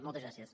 moltes gràcies